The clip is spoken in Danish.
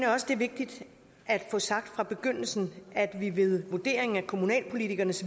også det er vigtigt at få sagt fra begyndelsen at vi ved vurdering af kommunalpolitikernes